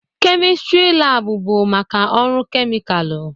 kemistri lab bụ maka ọrụ kemịkalụ.